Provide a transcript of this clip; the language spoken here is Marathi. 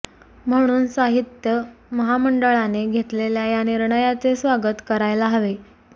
म्हणून साहित्य महामंडळाने घेतलेल्या या निर्णयाचे स्वागत करायला हवे